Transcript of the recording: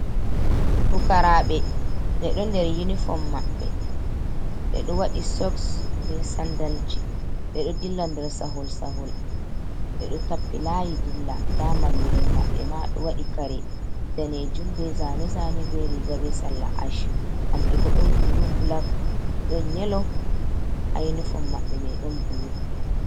Pukaraaɓe ɓeɗo nder yunifom maɓɓe ɓeɗo waɗi soks be sandalji ɓeɗo dilla nder sahol sahol ɓe ɗo tappi layi dilla nda mallum en maɓɓe ma ɗo waɗi kare danejum be zane zane be riga be salla ash. Kanɓe bo ɗon bulu bulak ɗon yelo ha uniform maɓɓe mai ɗon bulu.